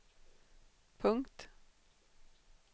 punkt